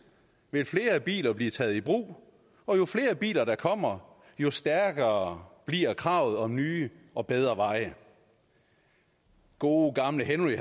vil flere biler blive taget i brug og jo flere biler der kommer jo stærkere bliver kravet om nye og bedre veje gode gamle henry